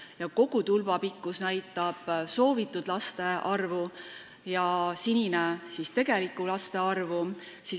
Tulba kogupikkus näitab soovitud laste arvu ja sinine osa tegelikku laste arvu.